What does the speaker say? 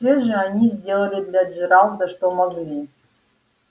все же они сделали для джералда что могли